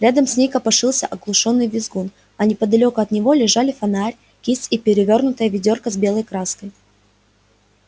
рядом с ней копошился оглушённый визгун а неподалёку от него лежали фонарь кисть и перевёрнутое ведёрко с белой краской